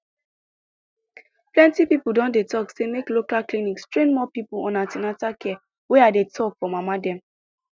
plenty people don dey talk say make local clinics train more people on an ten atal care wey i dey talk for mama dem